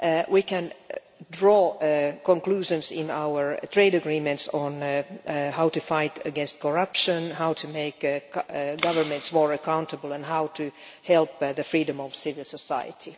We can draw conclusions in our trade agreements on how to fight against corruption, how to make governments more accountable and how to help the freedom of civil society.